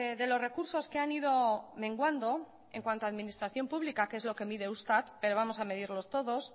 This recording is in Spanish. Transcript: de los recursos que han ido menguando en cuanto a administración pública que es lo que mide eustat pero vamos a medirlos todos